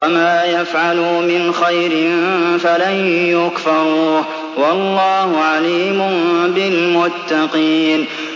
وَمَا يَفْعَلُوا مِنْ خَيْرٍ فَلَن يُكْفَرُوهُ ۗ وَاللَّهُ عَلِيمٌ بِالْمُتَّقِينَ